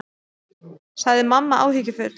sagði mamma áhyggjufull.